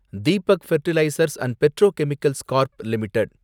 Deepak fertilizers and petrochemicals corp limited